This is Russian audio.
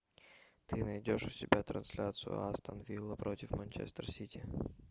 ты найдешь у себя трансляцию астон вилла против манчестер сити